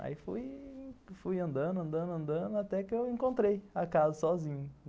Aí fuifui andando, andando, andando, até que eu encontrei a casa sozinho.